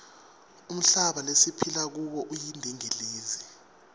umhlaba lesiphila kuwo uyindingilizi